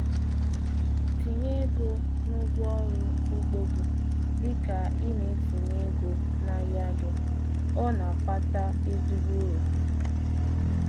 Tinye ego na ngwaọrụ ugbo gị dị ka ị na-etinye ego n'ahịa gị—ọ na-akpata ezigbo uru.